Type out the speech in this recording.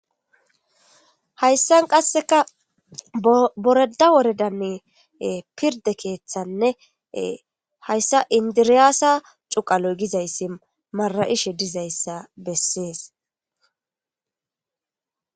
hayssan qasseka boreda woredann pirde keeththanne hayssa indiriyaasa cuqaloy gizayssi mara7ishe dizayssa bessees